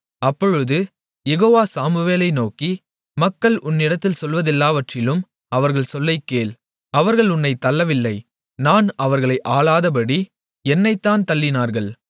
அப்பொழுது யெகோவா சாமுவேலை நோக்கி மக்கள் உன்னிடத்தில் சொல்வதெல்லாவற்றிலும் அவர்கள் சொல்லைக் கேள் அவர்கள் உன்னைத் தள்ளவில்லை நான் அவர்களை ஆளாதபடி என்னைத்தான் தள்ளினார்கள்